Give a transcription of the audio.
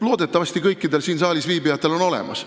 Loodetavasti on see kõikidel siin saalis viibijatel olemas.